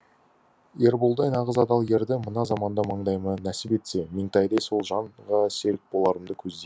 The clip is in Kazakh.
ерболдай нағыз адал ерді мына заманда маңдайыма нәсіп етсе меңтайдай сол жанға серік боларымды көздеймін